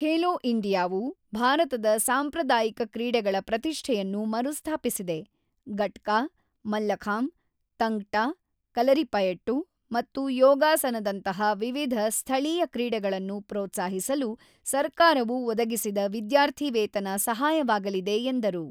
ಖೇಲೋ ಇಂಡಿಯಾವು ಭಾರತದ ಸಾಂಪ್ರದಾಯಿಕ ಕ್ರೀಡೆಗಳ ಪ್ರತಿಷ್ಠೆಯನ್ನು ಮರುಸ್ಥಾಪಿಸಿದೆ, ಗಟ್ಕಾ, ಮಲ್ಲಖಾಂಬ್, ತಂಗ್ ಟ, ಕಲರಿಪಯಟ್ಟು ಮತ್ತು ಯೋಗಾಸನದಂತಹ ವಿವಿಧ ಸ್ಥಳೀಯ ಕ್ರೀಡೆಗಳನ್ನು ಪ್ರೋತ್ಸಾಹಿಸಲು ಸರ್ಕಾರವು ಒದಗಿಸಿದ ವಿದ್ಯಾರ್ಥಿವೇತನ ಸಹಾಯವಾಗಲಿದೆ ಎಂದರು.